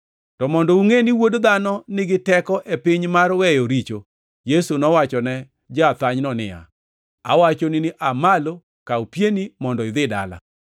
To mondo ungʼe ni Wuod Dhano nigi teko e piny mar weyo richo.” Yesu nowachone ja-athanyno niya, “Awachoni ni aa malo, kaw pieni mondo idhi dala.”